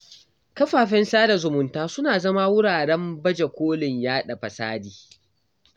Kafafen sada zumunta suna zama wuraren baje kolin yaɗa fasadi.